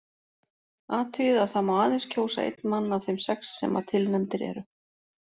Athugið að það má aðeins kjósa einn mann af þeim sex sem að tilnefndir eru.